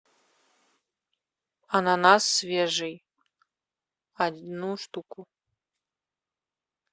ананас свежий одну штуку